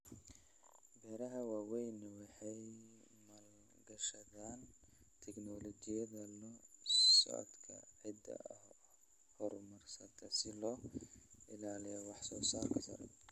Beeraha waaweyni waxay maalgashadaan teknoolojiyadda la socodka ciidda horumarsan si loo ilaaliyo wax soo saarka sare.